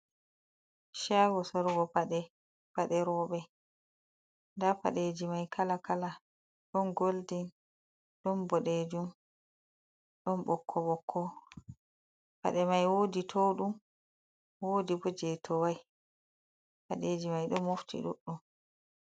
Shago sorugo pade; pade robe. Nda paɗeji mai kala kala ɗon golden, ɗon boɗejum, ɗon ɓokko-ɓokko. Paɗe mai wodi touɗum, wodi bo jei towai. Padeji mai ɗon mofti duɗɗum.